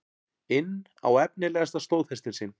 inn á efnilegasta stóðhestinn sinn.